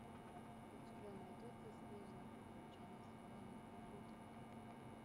у тебя найдется снежные приключения солана и людвига